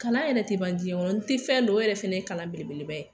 Kalan yɛrɛ tɛ ban diɲɛ kɔnɔ n tɛ fɛn dɔn o yɛrɛ fɛnɛ ye kalan belebeleba ye.